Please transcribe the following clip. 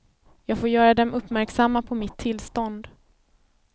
Jag får göra dem uppmärksamma på mitt tillstånd.